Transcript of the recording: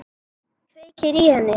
Kveikir í henni.